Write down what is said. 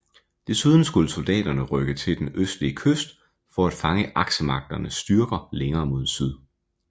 Desuden skulle soldaterne rykke til den østlige kyst for at fange Aksemagternes styrker længere mod syd